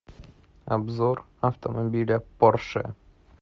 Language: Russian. обзор автомобиля порше